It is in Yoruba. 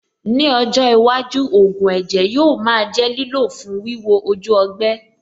Ní ọjọ́ iwájú, ògùn ẹ̀jẹ̀ yóò máa jẹ́ lílò fún wíwo ojú ọgbẹ́.